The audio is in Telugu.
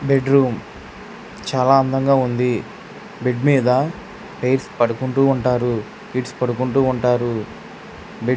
బెడ్ రూమ్ చాలా అందంగా ఉంది బెడ్ మీద పైర్స్ పడుకుంటూ ఉంటారు కిడ్స్ పడుకుంటూ ఉంటారు బెడ --